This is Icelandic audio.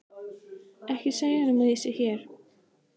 Ekki segja honum að ég sé hér.